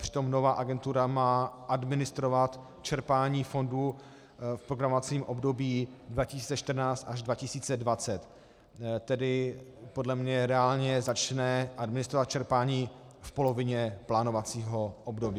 Přitom nová agentura má administrovat čerpání fondů v programovacím období 2014 až 2020, tedy podle mne reálně začne administrovat čerpání v polovině plánovacího období.